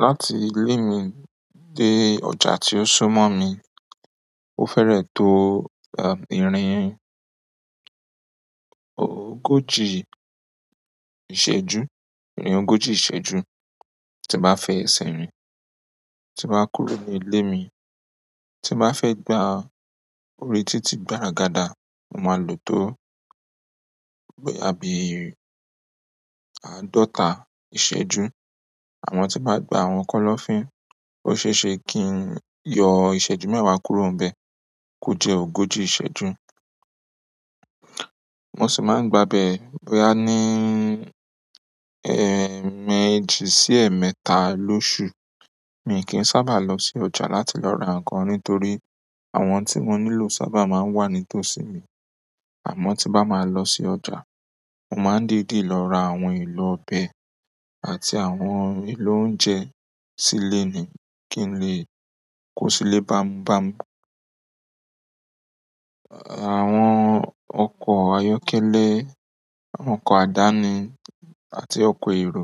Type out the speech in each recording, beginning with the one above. Láti ilé mi dé ọjà tí ó sún mọ́ mi, ó fẹ́rẹ̀ tó, ìrìn ògoji ìṣẹ́jú, ìrìn ogóji ìṣẹ́jú tí n ba fi esẹ́ rin, tí n ba kúrò ní ilé mi. Ti n ba fe gba orí titi gbaragada mo maa lo to boya bi àádọ́ta iseju. Àmọ́ tí màá gba àwọn kọ́lọ́fín, ó ṣe ṣe kí n yọ ìṣẹ́jú mẹ́wàá kúrò nbẹ̀ kó jẹ ogóji ìṣẹ́jú. Mo sì máa ń gba bẹ̀ bóyá ní, eemẹ́jì sí ẹ̀ẹ̀mẹ́ta lóṣù. Mi kì n sábà lọ sí ọjà láti lọ ra ǹkan nítorí àwọn tí mo nílò sábà máa ń wà nítòsí mi. Àmọ́ tí bá máa lọ sí ọjà, mo màá n dìdi lọ ra àwọn èlò ọbẹ̀ àti àwọn èlò oúnjẹ sílé ni kí n lè kó sílé bámubámu. Àwọn ọkọ̀ ayọ́kẹ́lẹ́, àwọn ọkọ̀ àdáni àti ọkọ̀ èrò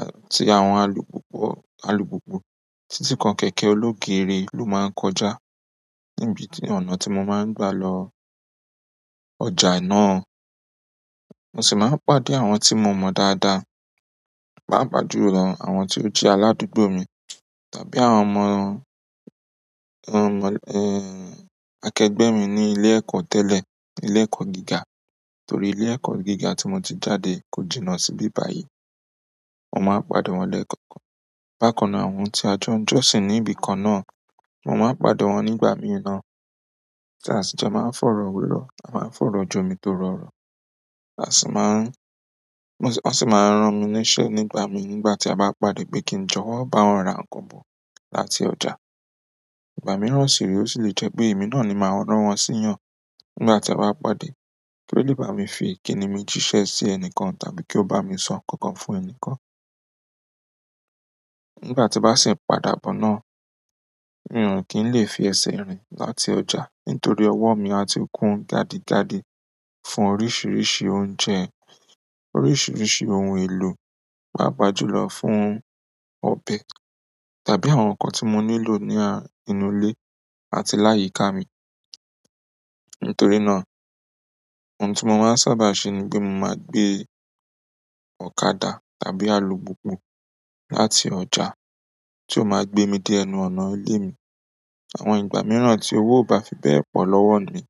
àti àwọn alùpùpù, alùpùpù títí kan kẹ̀kẹ́ ológeere ló máa ń kọjá níbi ti ọ̀nà tí mo máa ń gba lọ ọjà náà. Mo sì máa ń pàdé àwọn tí mo mọ̀ dáadáa, pàápàá jù lọ àwọn tí ó jẹ́ aládùúgbò mi tàbí àwọn omọ̀, akẹgbẹ́ mi ní ilé ẹ̀kọ́ tẹ́lẹ̀, ilé ẹ̀kọ́ gíga. Nítorí ilé ẹ̀kọ́ gíga tí mo ti jáde kò jìnnà síbi báyìí. Mo máa ń pàdé wọn lẹ́ẹ̀kọ̀ọ̀kan. Bákan náà àwọn tí ajọ́ ń jọ́sín níbi kan náà, mo máa ń pàdé wọn nígbàmì náà. Ti a si jo maa n foro wero a maa n foro jomitoro oro. A sì máa n wọ́n sì máa ń ran mi níṣẹ́ nígbà mi nígbà tí a bá pàdé pé kí n jọ̀wọ́ bá wọn ra ǹkan kan bo láti ọjà. Ìgbà mìràn sì rè o sì lè jẹ́ pé èmi náà ni màá ràn wọ́n síyàn nígbà tí a bá pàdé kí wọ́n lè bá mi fi ìkíni mi jíṣẹ́ sí ẹnikan tàbí kí ó bá mi sọ ǹkan kan fún ẹni kan. Nígbà tí bá sì ń padà bọ̀ náà, n kì lè fi ẹsẹ̀ rìn láti ọjà nítorí ọwọ́ mi a ti kún gadigadi fún oríṣiríṣi oúnjẹ, oríṣiríṣi ohun èlò, pàápàá jùlọ fún ọbẹ̀ tàbí àwọn ǹkan tí mo nílò ní, nínú ilé àti láyìíká mi. Nítorí náà, ohun tí mo máa ń sábà ṣe ni pé mo máa gbé ọ̀kadà tàbí alùpùpù láti ọjà tí ó máa gbé mi dé ẹnu ọ̀nà ilé mi. Àwọn ìgbà mìíràn tí owó ò bá fi bẹ́ẹ̀ pọ̀ lọ́wọ́ mi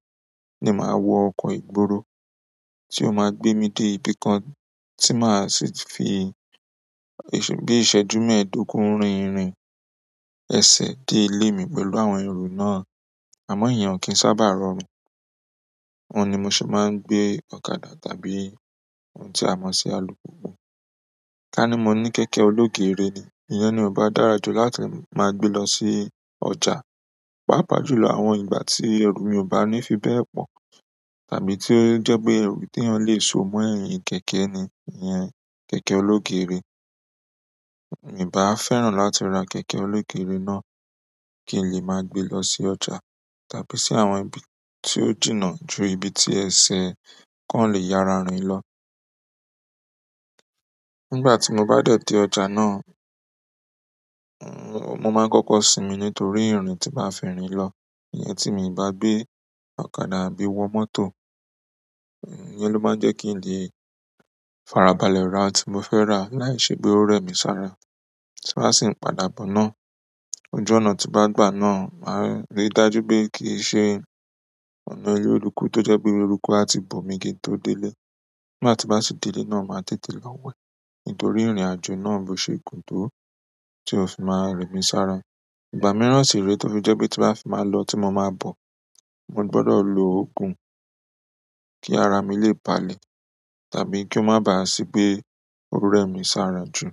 ni màá wọ ọkọ̀ ìgboro tí ó máa gbé mi dé ibi kan tí màá sì fi, bí iṣẹ́jú mẹ́ẹ̀ẹ́dógún rin ìrìn ẹsẹ̀ dé ilé mi pẹ̀lú àwọn èrò náà. Àmọ́ èèyàn kì í sábà rọrùn. Òun ni mo se máa ń gbé ọ̀kadà tàbí ohun tí a mọ̀ sí alùpùpù. Kani mo ni kẹ̀kẹ́ oloogere ni, iyen ni ba dára ju láti maa gbe lo si ọjà, papajulo àwọn igbati àwọn eru mi o bani fi be po, tàbí ti o je pe eru ti eyan le so mo eyin kẹ̀kẹ́ ni iyen kẹ̀kẹ́ oloogere n bá fẹ́ràn láti ra kẹ̀kẹ́ ológeere náà kí n lè máa gbe lọ sí ọjà tàbí sí àwọn ibi tí ó jìnnà ju ibi tí ẹsẹ̀ kan lè yára rin lọ. Nígbà tí mo bá dẹ̀ tí ọjà náà, mo máa ń kọ́kọ́ sinmi nítorí ìrìn tí màá fi rìn lọ. Ìyẹn tí mi bá gbé ọ̀kadà àbí wọ mọ́tò, ìyẹn ló máa ń jẹ́ kí n lè farabalẹ̀ ra tí mo fẹ́ rà láìṣe pé ó rẹ̀ mí sára. Tí n ba sì ń padà bọ̀ náà, ojú ọ̀nà tí ba gbà náà màá rí dájú pé kí ṣe ọ̀nà eleruku tó jẹ́ pé eruku a ti bò mi kí n tó délé. Nígbà tí màá sì délé náà màá tètè lọ wẹ̀ nítorí ìrìnàjò náà bò ṣe gun tó tí ò si máa rẹ̀ mí sára. Ìgbà mìíràn sì rè tó fi jẹ́ pé tí màá fi máa lọ tí mo máa bọ̀, mo gbọdọ̀ lo ogùn kí ara mi lè balẹ̀ tàbí kí ó má bàá sí pé ó rẹ̀ mí sára jù.